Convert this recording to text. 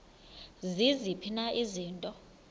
ziziphi na izinto